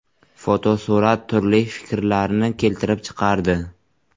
Fotosurat turli fikrlarni keltirib chiqardi.